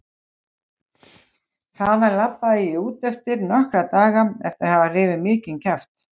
Þaðan labbaði ég út eftir nokkra daga eftir að hafa rifið mikinn kjaft.